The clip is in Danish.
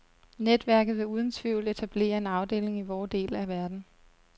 Netværket vil uden tvivl etablere en afdeling i vor del af verden.